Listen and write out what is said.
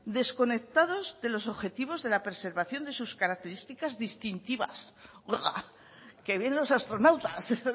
desconectados de los objetivos de la preservación de sus características distintivas oiga que vienen los astronautas ya pero